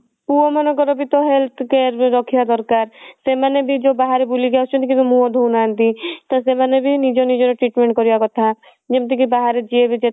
ପୁଅ ମାନଙ୍କ ର ବି ତ health care ରେ ରଖିବା ଦରକାର ସେମାନେ ବି ଯଉ ବାହାରେ ବୁଲିକି ଆସୁଛନ୍ତି କିନ୍ତୁ ମୁହଁ ଧୋଉନାହାନ୍ତି ତ ସେମାନେ ବି ନିଜ ନିଜ ର treatment କରିବା କଥା ଯେମତି କି ବାହାରେ ଯିଏ ବି ଯେତେବେଳେ